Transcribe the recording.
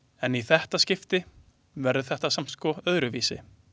En í þetta skiptið verður þetta samt, sko, öðruvísi.